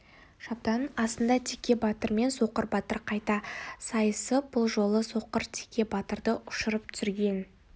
шабданың асында теке батыр мен соқыр батыр қайта сайысып бұл жолы соқыр теке батырды ұшырып түсірген